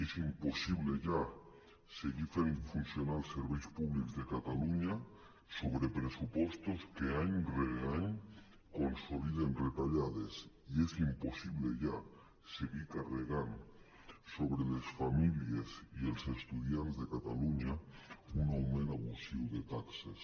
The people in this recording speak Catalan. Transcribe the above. és impossible ja seguir fent funcionar els serveis públics de catalunya sobre pressupostos que any rere any con·soliden retallades i és impossible ja seguir carregant sobre les famílies i els estu·diants de catalunya un augment abusiu de taxes